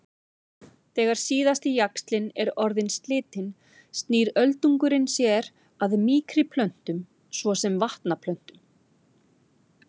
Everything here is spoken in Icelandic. Þegar síðasti jaxlinn er orðinn slitinn snýr öldungurinn sér að mýkri plöntum svo sem vatnaplöntum.